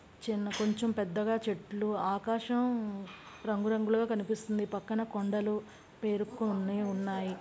చిన్న కొంచెం పెద్దగా చెట్లు ఆకాశం రంగు రంగులుగా కనిపిస్తుంది పక్కన కొండలు పేరుకు కొన్ని ఉన్నాయి.